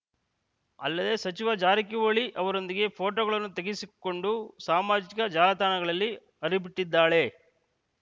ಅಲ್ಲದೇ ಸಚಿವ ಜಾರಕಿಹೊಳಿ ಅವರೊಂದಿಗೆ ಫೋಟೊಗಳನ್ನು ತೆಗೆಸಿಕೊಂಡು ಸಾಮಾಜಿಕ ಜಾಲತಾಣಗಳಲ್ಲಿ ಹರಿಬಿಟ್ಟಿದ್ದಾಳೆ